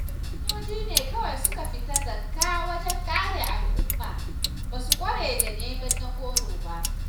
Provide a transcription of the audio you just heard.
Sojoji ne kawai suka fita zakka wajen kare al'umma, ba su ƙware da neman na goro ba.